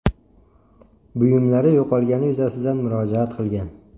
buyumlari yo‘qolgani yuzasidan murojaat qilgan.